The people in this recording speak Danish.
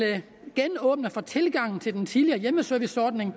genåbne for tilgangen til den tidligere hjemmeserviceordning